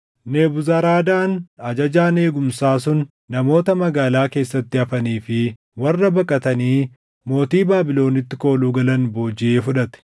Nebuzaradaan ajajaan eegumsaa sun namoota magaalaa keessatti hafanii fi warra baqatanii mootii Baabilonitti kooluu galan boojiʼee fudhate.